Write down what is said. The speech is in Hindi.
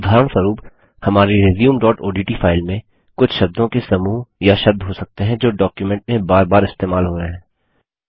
उदाहरणस्वरुप हमारी resumeओडीटी फाइल में कुछ शब्दों के समूह या शब्द हो सकते हैं जो डॉक्युमेंट में बार बार इस्तेमाल हो रहे हैं